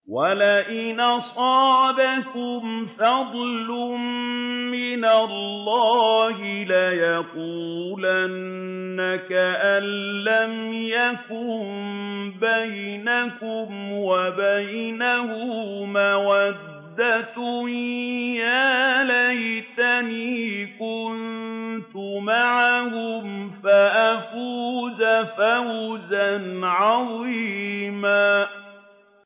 وَلَئِنْ أَصَابَكُمْ فَضْلٌ مِّنَ اللَّهِ لَيَقُولَنَّ كَأَن لَّمْ تَكُن بَيْنَكُمْ وَبَيْنَهُ مَوَدَّةٌ يَا لَيْتَنِي كُنتُ مَعَهُمْ فَأَفُوزَ فَوْزًا عَظِيمًا